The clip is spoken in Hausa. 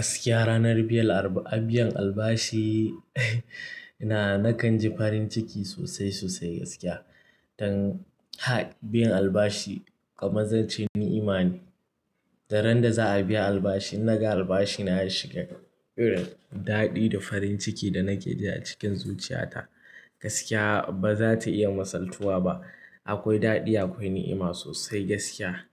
Gaskiya ranar biyan albashi, na kan ji farin ciki sosai sosai gaskiya. Dan ha biyan albashi kamar zance ni'ima ne. Daren da za a biya albashi naga albashi na ya shiga, irin daɗi da farin ciki da nake ji a cikin zuciya ta gaskiya ba za ta iya masaltuwa ba. Akwai daɗi akwai ni'ima sosai gaskiya.